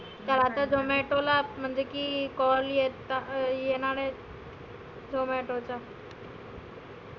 ज्यादा zomato ला म्हणजे की call येता येणार आहेत. zomato चा.